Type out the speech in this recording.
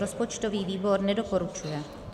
Rozpočtový výbor nedoporučuje.